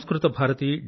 ఇలానే samskritabharati